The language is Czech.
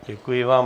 Děkuji vám.